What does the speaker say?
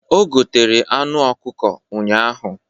O gotere anụ ọkụkọ ụnyaahụ.